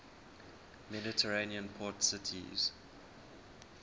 mediterranean port cities